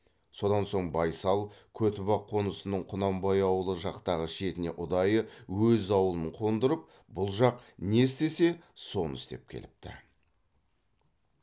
содан соң байсал көтібақ қонысының құнанбай ауылы жақтағы шетіне ұдайы өз ауылын қондырып бұл жақ не істесе соны істеп келіпті